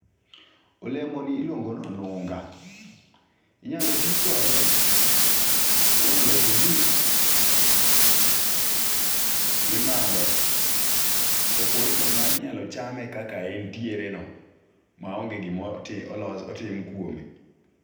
Olemo ni iluongo nonunga, inyalo tii kode kuom loso juis mimadho. Kopogore kod mano inyalo chame kaka entiere no ma onge gima olo otim kuome.